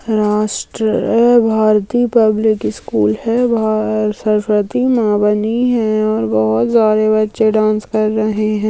राष्ट्र आ Bharati public school है बाहर सरस्वती माँ बनी है और बहोत सारे बच्चे डांस कर रहे हैं।